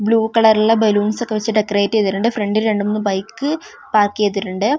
Blue കളറിലുള്ള balloons ഒക്കെ വെച്ച് ഡെക്കറേറ്റ് ചെയ്തിട്ടുണ്ട് ഫ്രണ്ടിൽ രണ്ട് മൂന്ന് ബൈക്ക് പാർക്ക്‌ ചെയ്തിട്ടുണ്ട് .